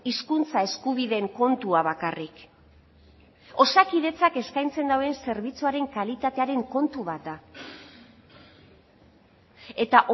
hizkuntza eskubideen kontua bakarrik osakidetzak eskaintzen duen zerbitzuaren kalitatearen kontu bat da eta